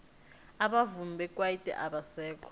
abavumi bekwaito abasekho